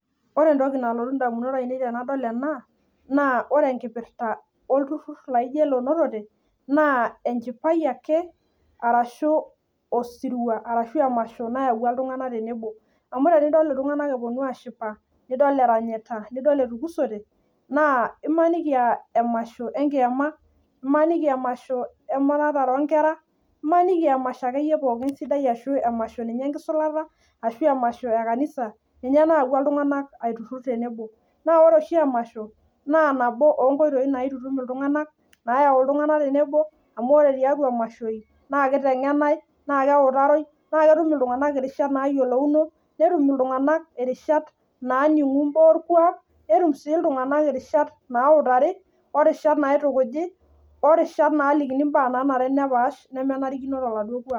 Ore entoki nalotu ndamunot ainei tenadol ena naa ore ena naa oltururr onotote ebaiki neeta emasho aashu osirua oyawua iltunganak tenebo neeku enchipai sapuk oleng. Amu tenidol iltunganak etii tenebo naa kelelek aa emasho kiama Ashu Ashu likae sirua sapuk. Naa ore oshi emasho naa nabo ooo nkoitoi naitutum iltunganak naa keutaroi netum, iltunganak engeno sapuk netum aatayiolo enanare tenas.